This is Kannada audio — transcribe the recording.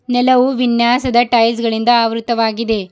ನೆಲವು ವಿನ್ಯಾಸದ ಟೈಲ್ಸ್ ಗಳಿಂದ ಆವೃತ್ತವಾಗಿದೆ.